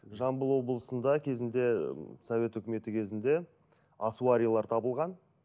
жамбыл облысында кезінде ы совет үкіметі кезінде асуарилар табылған